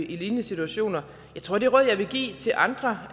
i lignende situationer jeg tror at det råd jeg vil give til andre